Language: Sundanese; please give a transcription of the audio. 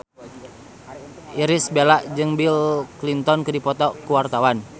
Irish Bella jeung Bill Clinton keur dipoto ku wartawan